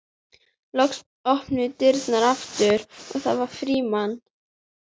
Loks opnuðust dyrnar aftur og það var Frímann.